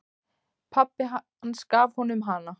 Pabbi hans gaf honum hana.